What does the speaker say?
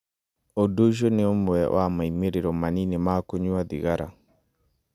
Ũndũ ũcio nĩ ũmwe wa moimĩrĩro manini ma kũnyua thigara.